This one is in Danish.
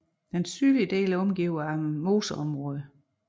Den sydlige del er omgivet af moseområder